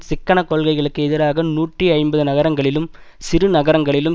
சிக்கன கொள்கைகளுக்கு எதிராக நூற்றி ஐம்பது நகரங்களிலும் சிறு நகரங்களிலும்